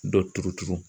Dɔ turuturu